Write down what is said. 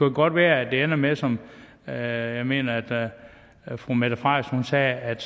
jo godt være at det ender med som jeg jeg mener at at fru mette frederiksen sagde at det